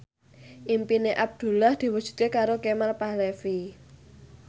impine Abdullah diwujudke karo Kemal Palevi